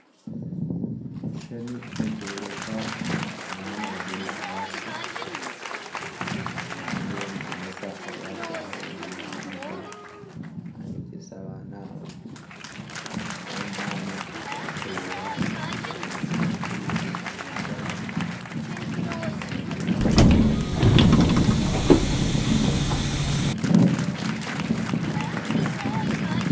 Ekishushani nikyoreka abaana bari omu kirasi harumu omushomesa ari aharubaho nahandiika nayegyesa abaana aba . Bamwe omu baana ari ahakureba owatire ekishushani arinka ashemereirwe na abandi baine ebitabo bashutamire omu kirasi.